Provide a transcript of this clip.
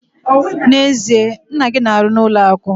N'ezie? Nna gị na-arụ n'ụlọ akụ!